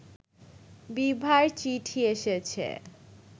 বিভার চিঠি এসেছে